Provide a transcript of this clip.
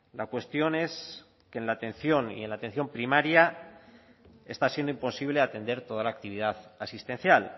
la cuestión es que en la atención y en la atención primaria está siendo imposible atender toda la actividad asistencial